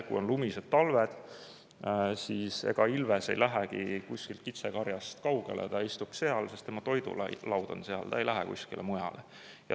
Kui on lumised talved, siis ega ilves ei lähegi kitsekarjast kaugele, ta istub seal, sest tema toidulaud on seal, ta ei lähe kuskile mujale.